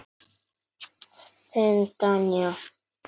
Þín Danía.